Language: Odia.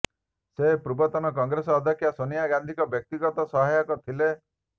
ସେ ପୂର୍ବତନ କଂଗ୍ରେସ ଅଧ୍ୟକ୍ଷ ସୋନିଆ ଗାନ୍ଧୀଙ୍କ ବ୍ୟକ୍ତିଗତ ସହାୟକ ଥିଲେ